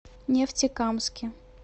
нефтекамске